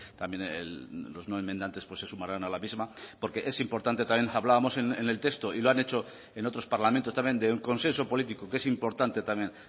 también los no enmendantes pues se sumarán a la misma porque es importante también hablábamos en el texto y lo han hecho en otros parlamentos también de un consenso político que es importante también